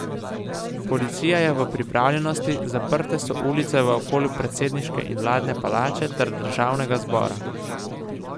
Policija je v pripravljenosti, zaprte so ulice v okolici predsedniške in vladne palače ter državnega zbora.